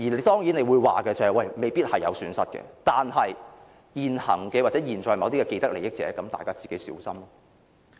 當然你或會說，這樣未必會有損失，但現行或現在某一些既得利益者自己便要小心。